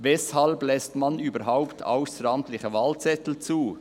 Weshalb lässt man überhaupt ausseramtliche Wahlzettel zu?